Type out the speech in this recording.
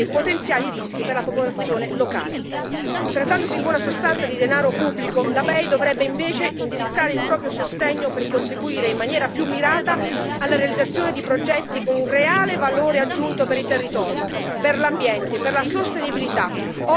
Trattandosi in buona sostanza di denaro pubblico, la BEI dovrebbe invece indirizzare il proprio sostegno per contribuire in maniera più mirata alla realizzazione di progetti con un reale valore aggiunto per i territori, per l'ambiente e per la sostenibilità, oltre che alla creazione di posti di lavoro di qualità.